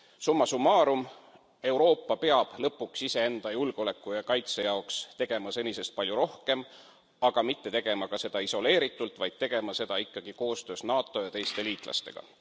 Summa summarum Euroopa peab lõpuks iseenda julgeoleku ja kaitse jaoks tegema senisest palju rohkem, aga mitte ka tegema seda isoleeritult, vaid tegema seda ikkagi koostöös NATO ja teiste liitlastega.